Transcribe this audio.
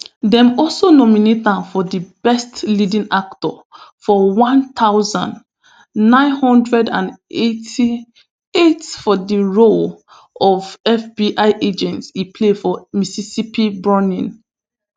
dem also nominate am for best leading actor for one thousand, nine hundred and eighty-eight for di role of fbi agent e play for mississippi burning